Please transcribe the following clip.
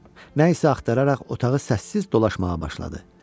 Nə isə axtararaq otağı səssiz dolaşmağa başladı.